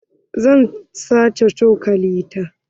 Zan sace cokalin ta.